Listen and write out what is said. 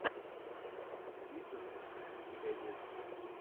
фитз у тебя есть